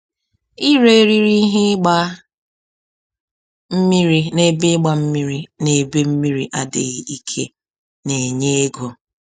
Ire eriri ihe ịgba mmiri n’ebe ịgba mmiri n’ebe mmiri adịghị ike na-enye ego.